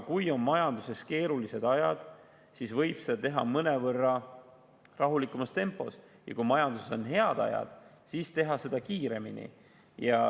Kui majanduses on keerulised ajad, siis võib seda teha mõnevõrra rahulikumas tempos, ja kui majanduses on head ajad, siis võib teha seda kiiremini.